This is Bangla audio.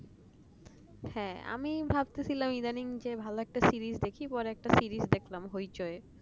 আমি ভাবতেছিলাম ভালো একটা series দেখি বা একটা series দেখলাম hoichoi